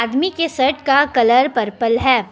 आदमी के शर्ट का कलर पर्पल है।